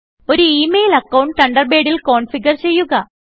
ഒരു email account തണ്ടർബേഡിൽ configure ചെയ്യുക